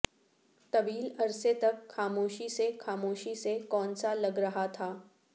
طویل عرصے تک خاموشی سے خاموشی سے کون سا لگ رہا تھا